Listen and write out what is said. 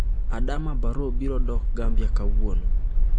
Adama Barrow biro dok Gambia kawuono